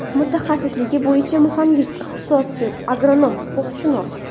Mutaxassisligi bo‘ycha muhandis-iqtisodchi, agronom, huquqshunos.